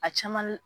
A caman